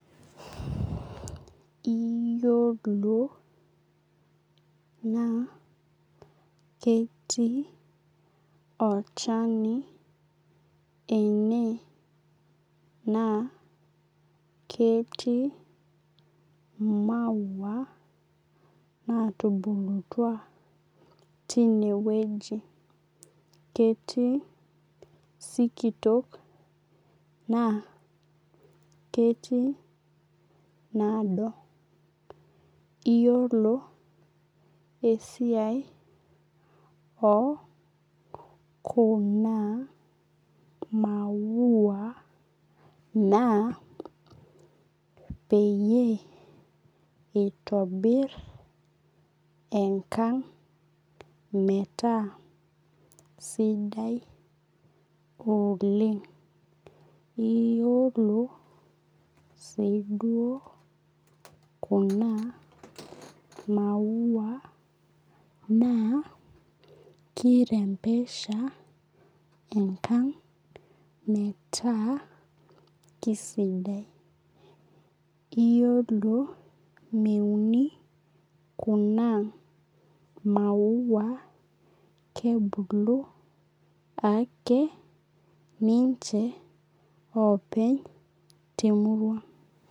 Iyolo naa ketii olchani ene na ketii maua natubulutua tinewueji ketiu sikitok na ketii naado iyolo esiai okuna maua naa peyie itobir enkang metaa sidai oleng iyolo si duo kuna maua na kirembesha enkang metaa kiaidai iyolo meuni kuna maua kebuku ake ninche openy temurua